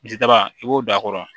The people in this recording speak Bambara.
Misidaba i b'o da a kɔrɔ